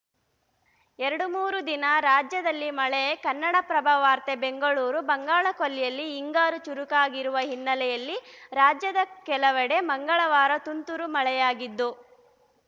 ಎರಡು ಮೂರು ದಿನ ರಾಜ್ಯದಲ್ಲಿ ಮಳೆ ಕನ್ನಡಪ್ರಭ ವಾರ್ತೆ ಬೆಂಗಳೂರು ಬಂಗಾಳಕೊಲ್ಲಿಯಲ್ಲಿ ಹಿಂಗಾರು ಚುರುಕಾಗಿರುವ ಹಿನ್ನೆಲೆಯಲ್ಲಿ ರಾಜ್ಯದ ಕೆಲವಡೆ ಮಂಗಳವಾರ ತುಂತುರು ಮಳೆಯಾಗಿದ್ದು